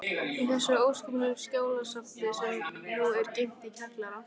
Í þessu óskipulega skjalasafni, sem nú er geymt í kjallara